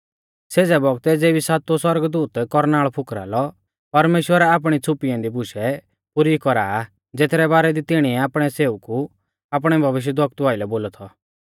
सेज़ै बौगतै ज़ेबी सातुऔ सौरगदूत कौरनाल़ फुकरा लौ परमेश्‍वर आपणी छ़ुपी ऐन्दी बुशै पुरी कौरा आ ज़ेथरै बारै दी तिणिऐ आपणै सेवकु आपणै भविष्यवक्तु आइलै बोलौ थौ